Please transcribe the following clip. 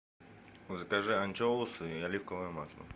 закажи анчоусы и оливковое масло